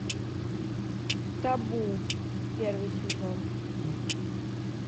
табу первый сезон